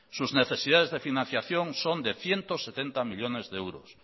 sus necesidades de financiación son de ciento setenta millónes de euros